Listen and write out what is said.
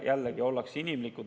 Jällegi, ollakse inimlikud.